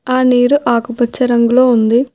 ఆ నీరు ఆకుపచ్చ రంగులో ఉంది.